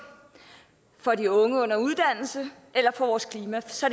for de unge under uddannelse eller for vores klima så